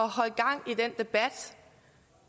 holde gang i den debat